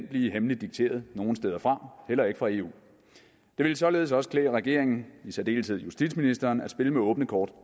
blive hemmeligt dikteret nogen steder fra heller ikke fra eu det ville således også klæde regeringen i særdeleshed justitsministeren at spille med åbne kort